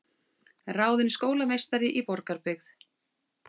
Ráðin skólameistari í Borgarbyggð